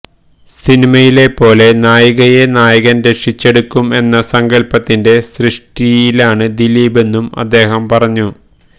സിനിമയിലെ പോലെ നായികയെ നായകൻ രക്ഷിച്ചെടുക്കും എന്ന സങ്കൽപ്പത്തിന്റെ സൃഷ്ടിയാണ് ദിലീപെന്നും അദ്ദേഹം പറഞ്ഞു